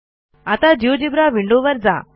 आता जिओजेब्रा विंडोवर जा